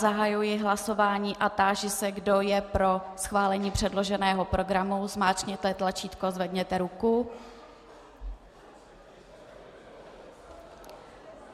Zahajuji hlasování a táži se, kdo je pro schválení předloženého programu, zmáčkněte tlačítko, zvedněte ruku.